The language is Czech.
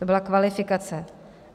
To byla kvalifikace.